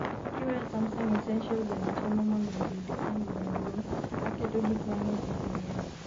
kiweyo Samsung, Essential bende temo mondo obed kambi maduong' maketo gik mang'eny ne janyiepo